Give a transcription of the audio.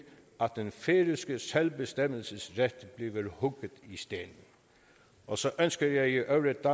at den færøske selvbestemmelsesret bliver hugget i sten og så ønsker jeg i øvrigt